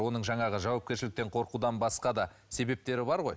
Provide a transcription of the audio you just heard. оның жаңағы жауапкершіліктен қорқудан басқа да себептері бар ғой